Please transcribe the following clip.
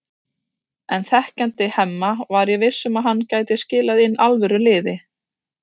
En þekkjandi Hemma var ég viss um að hann gæti skilað inn alvöru liði.